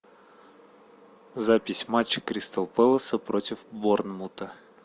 запись матча кристал пэласа против борнмута